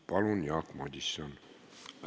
Palun, Jaak Madison!